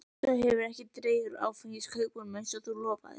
Svo hefurðu ekki dregið úr áfengiskaupunum eins og þú lofaðir.